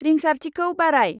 रिंसारथिखौ बाराय।